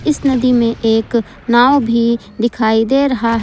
इस नदी में एक नांव भी दिखाई दे रहा है।